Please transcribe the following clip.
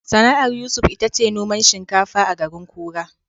Sana'ar Yusuf ita ce noman shinkafa a garin Kura.